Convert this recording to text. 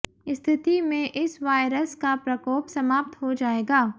स्थिति में इस वायरस का प्रकोप समाप्त हो जाएगा